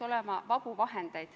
Aitäh!